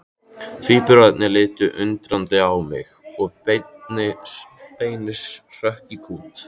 Tvíburarnir litu undrandi á mig og Benni hrökk í kút.